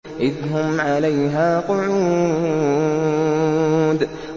إِذْ هُمْ عَلَيْهَا قُعُودٌ